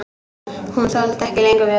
Hún þoldi ekki lengur við.